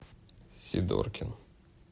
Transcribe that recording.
сидоркин